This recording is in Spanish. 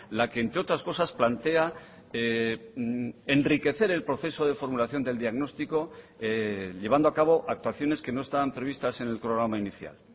la que entre otras cosas plantea enriquecer el proceso de formulación del diagnóstico llevando a cabo actuaciones que no estaban previstas en el programa inicial